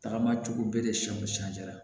Tagamacogo bɛɛ de siyan siyan